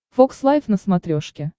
фокс лайв на смотрешке